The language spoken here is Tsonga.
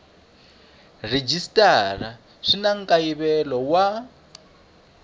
rhejisitara swi na nkayivelo wa